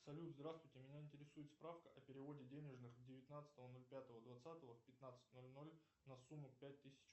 салют здравствуйте меня интересует справка о переводе денежных девятнадцатого ноль пятого двадцатого в пятнадцать ноль ноль на сумму пять тысяч